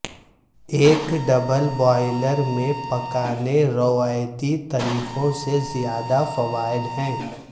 ایک double boiler میں پکانے روایتی طریقوں سے زیادہ فوائد ہیں